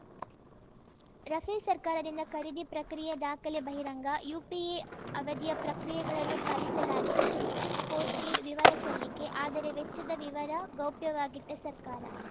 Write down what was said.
Rafale ಸರ್ಕಾರದಿಂದ ಖರೀದಿ ಪ್ರಕ್ರಿಯೆ ದಾಖಲೆ ಬಹಿರಂಗ ಯುಪಿಎ ಅವಧಿಯ ಪ್ರಕ್ರಿಯೆಗಳನ್ನು ಪಾಲಿಸಲಾಗಿದೆ ಸುಪ್ರೀಂ ಕೋರ್ಟ್‌ಗೆ ವಿವರ ಸಲ್ಲಿಕೆ ಆದರೆ ವೆಚ್ಚದ ವಿವರ ಗೌಪ್ಯವಾಗಿಟ್ಟಸರ್ಕಾರ